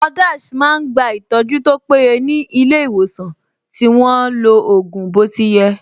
Àwọn ---- máa ń gba ìtọ́jú tó péye ní ilé ìwòsàn tí wọ́n lo ògùn bó ti yẹ